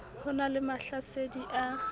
ho na le mahlasedi a